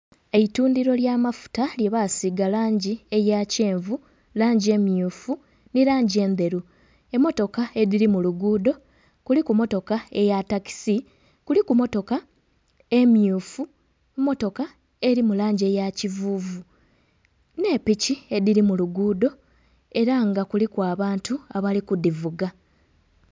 Eitundhiro lya mafuta lye basiiga langi eya kyenvu, langi emyufu nhi langi endheru. Emotoka edhiri mu luguudo, kuliku emotoka eya takisi, kuliku emotoka emyufu nhi motoka eri mu langi eya kyenvu ne'piki edhiri mu luguudo era nga kuliku abantu abali ku dhivuga.